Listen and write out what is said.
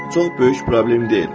Çox böyük problem deyil.